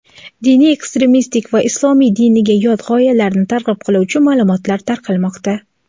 diniy ekstremistik va islom diniga yot g‘oyalarni targ‘ib qiluvchi ma’lumotlar tarqalmoqda.